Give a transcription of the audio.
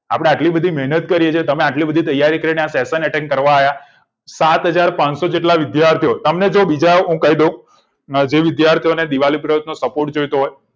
આપડે આટલી બધી મેહનત કરી તમે આટલી બધી તૈયારી કરી session attend કરવા આવ્યા સાત હજાર પાનસો જેટલા વિદ્યાર્થીઓ તમને કોઈ બીજા તમને હું કઈ દઉં જે વિદ્યાર્થીઓ ને દિવાળી પ્રયોગનો support જોઈતો હોય